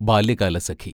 Balyakalasakhi